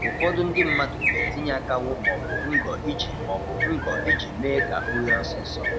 Ụfọdụ ndị mmadụ na-etinye akanwụ maọbụ ngọ iji maọbụ ngọ iji mee ka o ghee ọsịsọ.